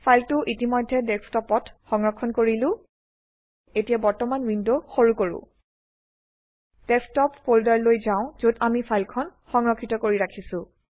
ফাইলটো ইতিমধেয় ডেস্কটপত সংৰক্ষণ কৰিলো এতিয়া বৰ্তমান উইন্ডো সৰু কৰো ডেস্কটপ ফোল্দাৰ লৈ যাও যত আমি ফাইলখন সংৰক্ষিত কৰি ৰাখিছো